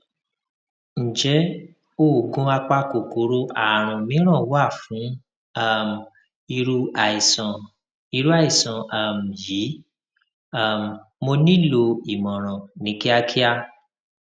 ǹjẹ oògùn apakòkòrò àrùn mìíràn wà fún um irú àìsàn irú àìsàn um yìí um mo nílò ìmọràn ní kíákíá